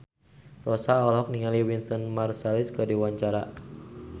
Rossa olohok ningali Wynton Marsalis keur diwawancara